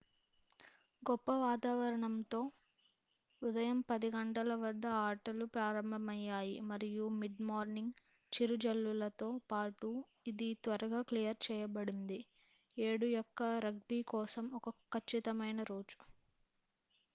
గొప్ప వాతావరణంతో 10:00am వద్ద ఆటలు ప్రారంభమయ్యాయి మరియు మిడ్ మార్నింగ్ చిరుజల్లుతో పాటు ఇది త్వరగా క్లియర్ చేయబడింది 7 యొక్క రగ్బీ కోసం ఒక ఖచ్చితమైన రోజు